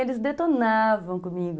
Eles detonavam comigo.